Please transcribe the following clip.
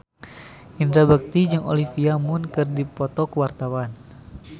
Indra Bekti jeung Olivia Munn keur dipoto ku wartawan